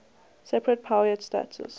separate powiat status